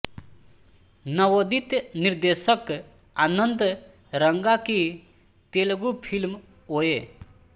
नवोदित निर्देशक आनंद रंगा की तेलगु फिल्म ओए